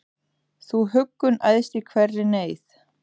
Þú huggun æðst í hverri neyð,